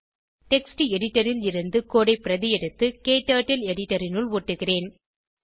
text editor ல் இருந்து code ஐ பிரதி எடுத்து க்டர்ட்டில் எடிட்டர் இனுள் ஒட்டுகிறேன்